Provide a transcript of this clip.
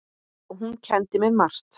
Og hún kenndi mér margt.